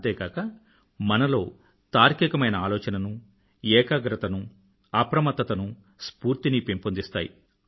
అంతే కాక మనలో తార్కికమైన ఆలోచననూ ఏకాగ్రతనూ అప్రమత్తతనూ స్ఫూర్తినీ పెంపొందిస్తాయి